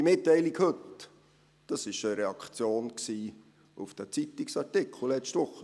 Die Mitteilung von heute war eine Reaktion auf den Zeitungsartikel von letzter Woche.